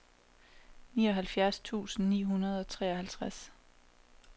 nioghalvfjerds tusind ni hundrede og treoghalvtreds